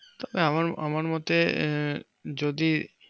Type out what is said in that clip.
আহ আমার মোতে যদি